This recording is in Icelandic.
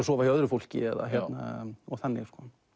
sofa hjá öðru fólki og þannig